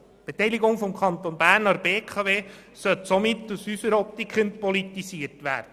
Die Beteiligung des Kantons Bern an der BKW sollte somit aus unserer Optik entpolitisiert werden.